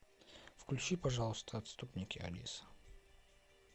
включи пожалуйста отступники алиса